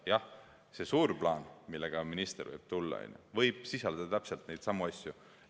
Jah, see suur plaan, millega minister võib siia tulla, võib sisaldada täpselt neidsamu asju.